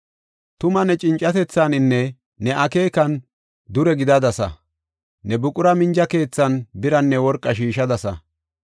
Tuma ne cincatethaaninne ne akeekan dure gidadasa; ne buqura minja keethan biranne worqaa shiishadasa.